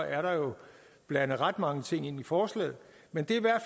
er der jo blandet ret mange ting i ind forslaget men de